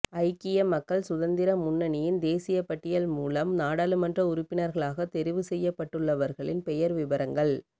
ஐக்கிய மக்கள் சுதந்திர முன்னணியின் தேசியப்பட்டியல் மூலம் நாடாளுமன்ற உறுப்பினர்களாக தெரிவு செய்யப்பட்டுள்ளவர்களின் பெயர் விபரங்கள்